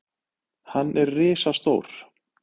Hann er risastór.